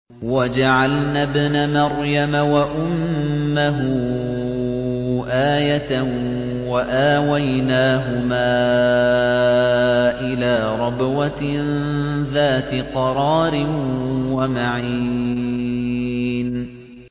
وَجَعَلْنَا ابْنَ مَرْيَمَ وَأُمَّهُ آيَةً وَآوَيْنَاهُمَا إِلَىٰ رَبْوَةٍ ذَاتِ قَرَارٍ وَمَعِينٍ